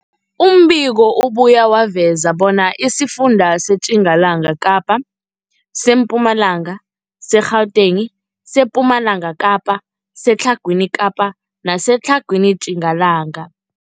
Umbiko ubuye waveza bona isifunda seTjingalanga Kapa, seMpumalanga, seGauteng, sePumalanga Kapa, seTlhagwini Kapa neseTlhagwini Tjingalanga.